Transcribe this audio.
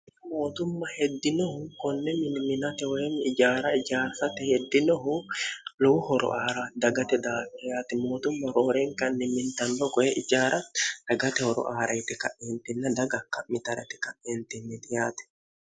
mootumma heddinohu konne miniminate woyim ijaara ijaarsate heddinohu lowu horo aara dagate daakkiyati mootumma rooreen kanni mintanlo goe ijaara dagate horo aarayiti ka'iintinna daga ka'mitarti ka'iintinnidiyaati